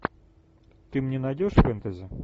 ты мне найдешь фэнтези